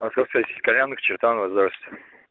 московская сеть кальянных чертаново здравствуйте